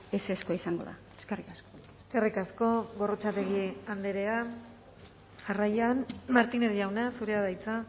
ezezkoa izango da eskerrik asko eskerrik asko gorrotxategi andrea jarraian martínez jauna zurea da hitza